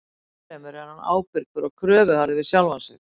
Ennfremur er hann ábyrgur og kröfuharður við sjálfan sig.